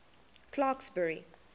clarksburry